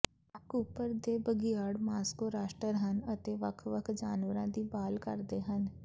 Cooper ਦੇ ਬਘਿਆੜ Moscow ਰਾਸ਼ਟਾਰ ਹਨ ਅਤੇ ਵੱਖ ਵੱਖ ਜਾਨਵਰਾਂ ਦੀ ਭਾਲ ਕਰਦੇ ਹਨ